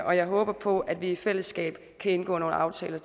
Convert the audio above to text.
og jeg håber på at vi i fællesskab kan indgå nogle aftaler